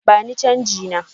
Bani chanji na!